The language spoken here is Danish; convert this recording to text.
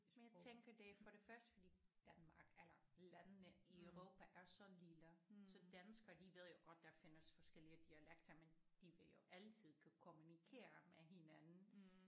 Men jeg tænker det er for det første fordi Danmark eller landene i Europa er så lille så danskere de ved jo godt der findes forskellige dialekter men de vil jo altid kunne kommunikere med hinanden